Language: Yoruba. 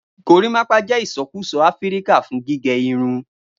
Gorimapa jẹ isọkusọ Afirika fun gige Arun